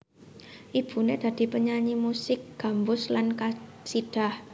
Ibuné dadi penyanyi musik gambus lan qasidah